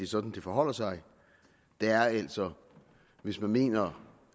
sådan det forholder sig der er altså hvis man mener